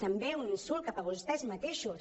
també un insult cap a vostès mateixos